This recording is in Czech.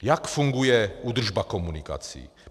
Jak funguje údržba komunikace?